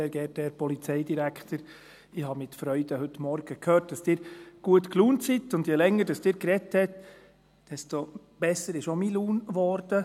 Sehr geehrter Herr Polizeidirektor, mit Freude ich habe heute Morgen gehört, dass Sie gut gelaunt sind, und je länger Sie gesprochen haben, desto besser ist auch meine Laune geworden.